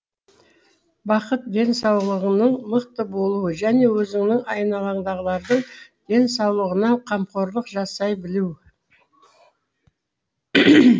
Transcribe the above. бақыт денсаулығыңның мықты болуы және өзіңнің айналаңдағылардың денсаулығына қамқорлық жасай білу